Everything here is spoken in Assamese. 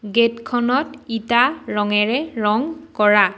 গেট খনত ইটা ৰঙেৰে ৰং কৰা।